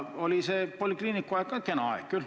Oli see polikliiniku aeg kena aeg küll.